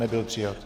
Nebyl přijat.